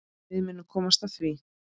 Við munum komast að því.